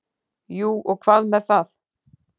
Jú og hvað með það!